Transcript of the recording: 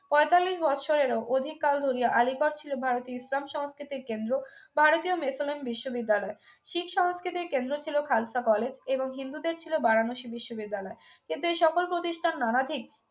পঁয়তাল্লিশ বছরের অধিক কাল ধরিয়া আলী পথ ছিল ভারতের ইসলাম সংস্কৃতির কেন্দ্র ভারতীয় মিশনের বিশ্ববিদ্যালয় শিখ সংস্কৃতি কেন্দ্র ছিল খালসা কলেজ এবং হিন্দুদের ছিল বারানসি বিশ্ববিদ্যালয় এতে সকল প্রতিষ্ঠান নানাবিধ